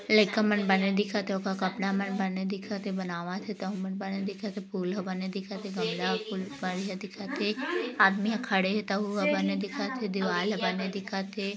लईका मन बने दिखत हे ओका कपड़ा मन बने दिखत हे बनावत हे तहु मन बने दिखत हे फूल ह बने दिखत हे गमला फूल बढ़िया दिखत हे आदमी ह खड़े हे तहु ह बने दिखत हे दीवाल ह बने दिखत हे।